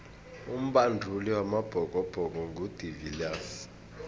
umbanduli wamabhokobhoko ngu de viliers